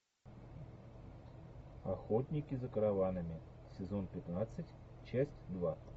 охотники за караванами сезон пятнадцать часть два